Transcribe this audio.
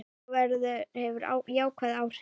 Það hefur jákvæð áhrif.